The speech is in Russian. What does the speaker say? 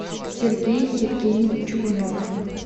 сергей евгеньевич чугунов